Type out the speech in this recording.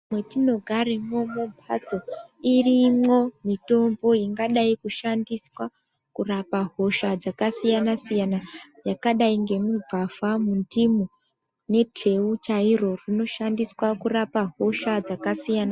Mwetinogaremwo mumhatso irimwo mitombo ingadai kushandiswa kurapa hosha dzakasiyana -siyana yakadai ngemugwavha, mundimu neteu chairo rinoshandiswa kurapa hosha dzakasiyana.